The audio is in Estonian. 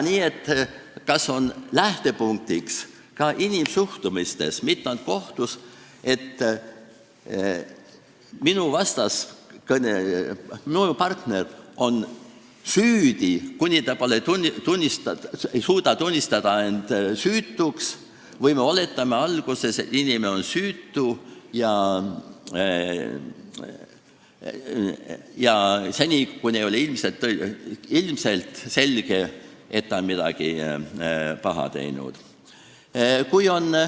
Nii et lähtepunkt inimsuhtluses, mitte ainult kohtus, on kas see, et minu vastaskõneleja, minu partner on süüdi, kuni ta ei suuda tõestada, et ta on süütu, või oletatakse alguses, et inimene on süütu seni, kuni ei ole ilmselge, et ta on midagi paha teinud.